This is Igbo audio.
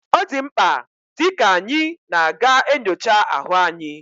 Odimkpa di ka anyi na aga enyocha ahu anyi